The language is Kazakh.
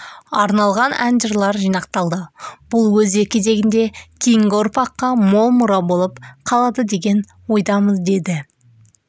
арналған ән-жырлар жинақталды бұл өз кезегінде кейінгі ұрпаққа мол мұра болып қалады деген ойдамыз деді